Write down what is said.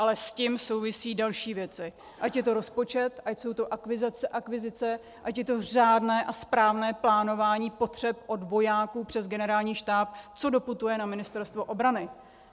Ale s tím souvisejí další věci, ať je to rozpočet, ať jsou to akvizice, ať je to řádné a správné plánování potřeb od vojáků přes Generální štáb, co doputuje na Ministerstvo obrany.